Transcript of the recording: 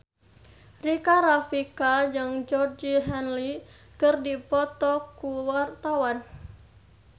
Rika Rafika jeung Georgie Henley keur dipoto ku wartawan